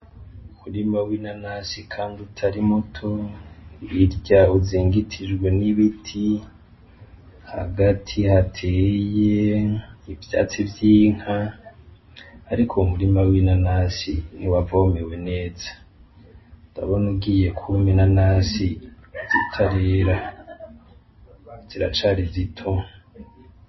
Umurima w'inanasi kanga utari muto irya uzingitijwe n'ibiti hagati hateye ivyatsi vy'inka, ariko umurima w'inanasi ntiwavomewe neza ndabona ugiye kumi na nasi zitareye ziracari zito.